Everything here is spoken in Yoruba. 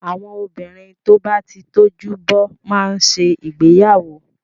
Àwọn obìnrin tó bá ti tójú bọ́ má ń ṣe ìgbéyàwó.